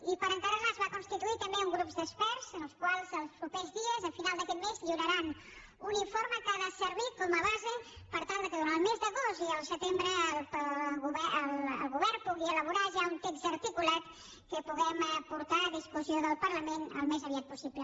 i per encàrrec es va constituir també un grup d’experts els quals els propers dies a final d’aquest mes lliuraran un informe que ha de servir com a base per tal que durant el mes d’agost i el setembre el govern pugui elaborar ja un text articulat que puguem portar a discussió del parlament al més aviat possible